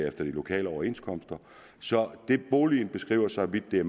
efter de lokale overenskomster så det boligen beskriver så vidt det er